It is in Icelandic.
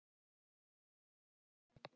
Bíðið bara.